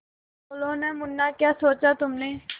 बोलो न मुन्ना क्या सोचा तुमने